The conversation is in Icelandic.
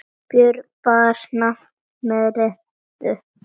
Björg bar nafn með rentu.